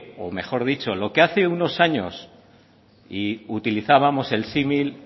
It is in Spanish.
o mejor dicho lo que hace unos años y utilizábamos el símil